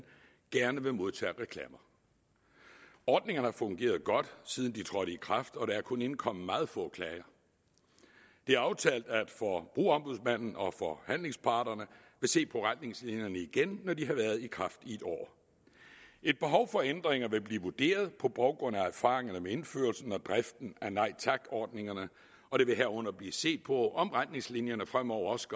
gerne vil modtage reklamer ordningerne har fungeret godt siden de trådte i kraft og der er kun indkommet meget få klager det er aftalt at forbrugerombudsmanden og forhandlingsparterne vil se på retningslinjerne igen når de har været i kraft i et år et behov for ændringer vil blive vurderet på baggrund af erfaringerne med indførelsen og driften af nej tak ordningerne og der vil herunder blive set på om retningslinjerne fremover også